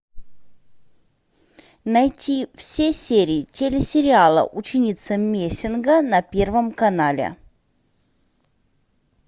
найти все серии телесериала ученица мессинга на первом канале